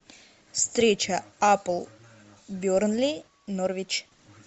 встреча апл бернли норвич